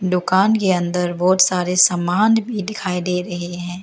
दुकान के अंदर बहुत सारे सामान भी दिखाई दे रहे हैं।